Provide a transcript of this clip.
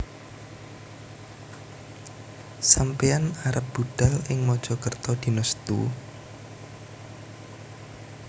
Sampeyan arep budhal ing Mojokerto dino Setu?